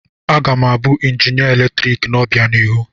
Aga m abụ injinia eletrik n'obianihu.